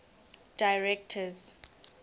directors